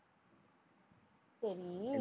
சரி